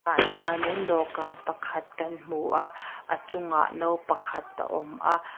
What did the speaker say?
ah hian in dawhkan pakhat kan hmu a a chungah no pakhat a awm a.